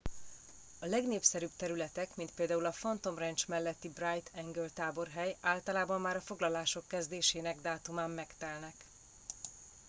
a legnépszerűbb területek mint például a phantom ranch melletti bright angel táborhely általában már a foglalások kezdésének dátumán megtelnek